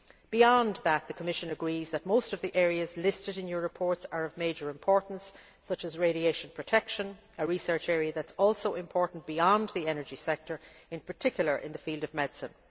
Beyond that, the Commission agrees that most of the areas listed in your reports are of major importance, such as radiation protection a research area that is also important beyond the energy sector, in particular in the field of medicine.